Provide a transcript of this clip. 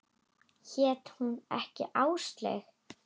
Hét hún ekki Áslaug?